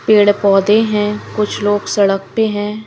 पेड़-पौधे हैं कुछ लोग सड़क पे हैं।